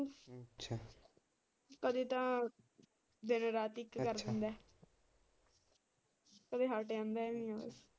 ਕਦੇ ਤਾਂ ਦਿਨ ਰਾਤ ਇੱਕ ਕਰਦਾ ਦਿੰਦਾ ਕਦੇ ਤਾਂ ਹੱਟ ਜਾਂਦਾ ਐ।